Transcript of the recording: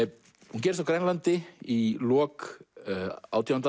hún gerist á Grænlandi í lok átjándu